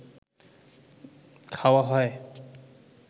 খাওয়া হয়